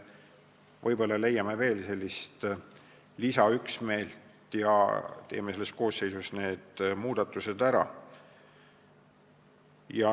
Võib-olla leiame veel lisaüksmeelt ja teeme selle koosseisu jooksul need muudatused ära.